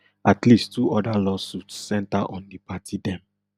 at least two oda lawsuits centre on di party dem